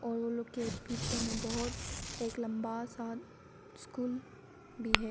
और वो लोग के पीछे में बहोत एक लंबा सा स्कूल भी है।